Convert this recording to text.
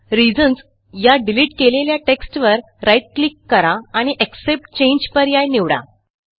reasons या delete केलेल्या टेक्स्टवर राईट क्लिक करा आणि एक्सेप्ट चांगे पर्याय निवडा